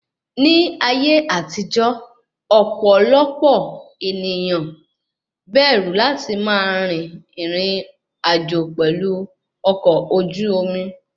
Ní ayé àtijó, ọ̀pọ̀lọpọ̀ ènìyàn bẹ̀rù láti máa rìn rìn àjò pelu ọkọ̀ ojú omi